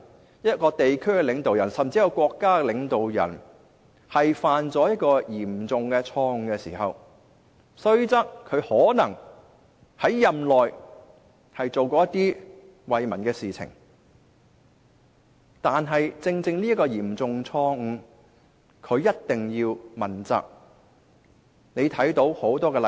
當一名地區甚至國家領導人犯下嚴重錯誤時，即使他任內可能做過惠民的事情，仍須對犯下的嚴重錯誤接受問責。